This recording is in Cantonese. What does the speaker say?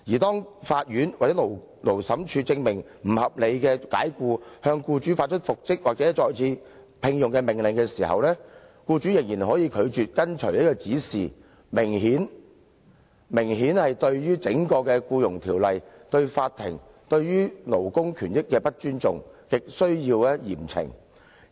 當法院或者勞審處裁定他被不合理解僱，並向僱主發出復職或再次聘用的命令時，僱主仍然可以拒絕遵從指示，明顯對於整項《僱傭條例》、對法庭、對勞工權益非常不尊重，亟需嚴懲。